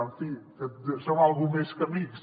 en fi que som alguna cosa més que amics